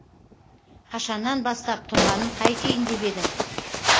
қашаннан бастап тұрғанын қайтейін деп едің